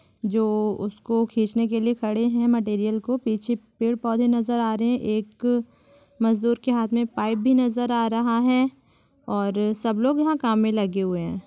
जो उसको खींचने के लिए खड़े हैं मटीरियल को पीछे पेड़ पौधे नजर आ रहे हैं एक मजदूर के हाथ में पाइप भी नजर आ रहा है और सब लोग यहां काम में लगे हुए हैं।